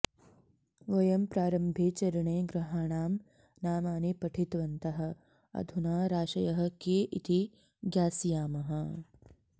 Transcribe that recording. वयं प्रारम्भे चरणे ग्रहाणां नामानि पठितवन्तः अधुना राशयः के इति ज्ञास्यामः